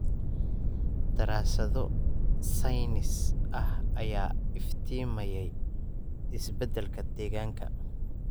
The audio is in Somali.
Daraasado saynis ah ayaa iftiimiyay isbeddelka deegaanka.